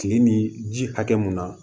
Kile ni ji hakɛ mun na